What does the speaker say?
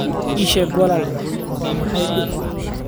Ii sheeg walaal waa maxay dhibku?